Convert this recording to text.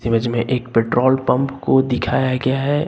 Image में एक petrol pump को दिखाया गया है।